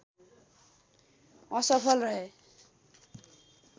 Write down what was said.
असफल रहे